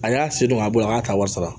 A y'a se dɔn a bɔ a y'a ta wari sara